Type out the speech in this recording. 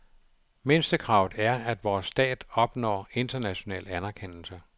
Mindstekravet er, at vores stat opnår international anerkendelse.